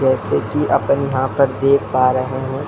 जैसन की अपन यहाँ पर देख पा रहे हैं --